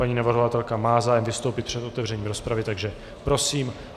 Paní navrhovatelka má zájem vystoupit před otevřením rozpravy, takže prosím.